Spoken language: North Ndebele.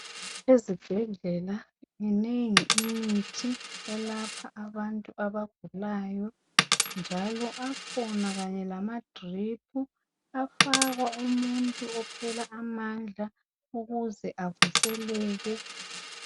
Ezibhedlela minengi imithi elapha abantu abagulayo njalo akhona Kanye lamadrip afakwa umuntu ophela amandla ukuze avuseleke.